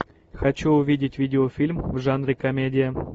хочу увидеть видеофильм в жанре комедия